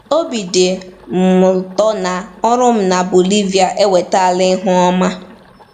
Obi dị m ụtọ na ọrụ m na Bolivia ewetaala ihe ọma.